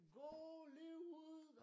Gå lige ud